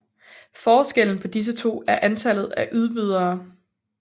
Forskellen på disse to er antallet af udbydere